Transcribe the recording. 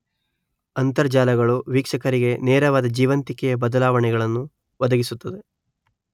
ಅಂತರ್ಜಾಲಗಳು ವೀಕ್ಷಕರಿಗೆ ನೇರವಾದ ಜೀವಂತಿಕೆಯ ಬದಲಾವಣೆಗಳನ್ನು ಒದಗಿಸುತ್ತವೆ